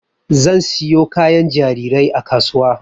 Zan siyo kayan jarirai a kasuwa